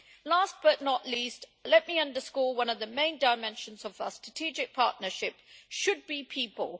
Last but not least, let me underscore that one of the main dimensions of our strategic partnership should be people.